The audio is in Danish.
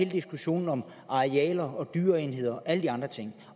diskussionen om arealer og dyreenheder og alle de andre ting